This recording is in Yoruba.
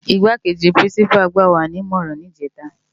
Igbákéji Pirinsipá gbáwá ni imòrán nijètá